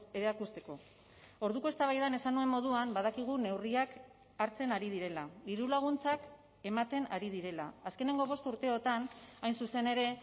erakusteko orduko eztabaidan esan nuen moduan badakigu neurriak hartzen ari direla diru laguntzak ematen ari direla azkeneko bost urteotan hain zuzen ere